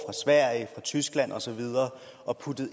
sverige fra tyskland og så videre og puttet